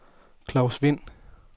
Claus Wind